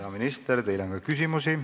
Hea minister, teile on küsimusi.